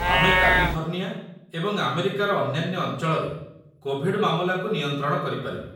ଆମେ କାଲିଫର୍ଣ୍ଣିଆ ଏବଂ ଆମେରିକାର ଅନ୍ୟାନ୍ୟ ଅଞ୍ଚଳରେ କୋଭିଡ୍ ମାମଲାକୁ ନିୟନ୍ତ୍ରଣ କରିପାରିଲୁ।